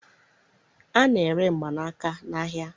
A na-ere mgbanaka n'ahịa